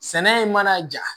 Sɛnɛ mana ja